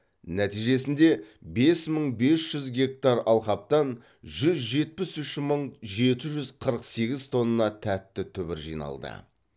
нәтижесінде бес мың бес жүз гектар алқаптан жүз жетпіс үш мың жеті жүз қырық сегіз төрт тонна тәтті түбір жиналды